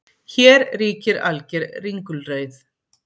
Hér ríkir alger ringulreið